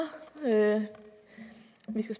det